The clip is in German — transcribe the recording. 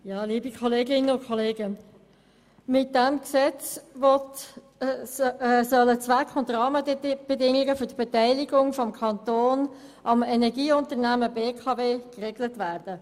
Mit diesem Gesetz sollen der Zweck und die gesetzlichen Rahmenbedingungen zur Beteiligung des Kantons am Energieunternehmen BKW geregelt werden.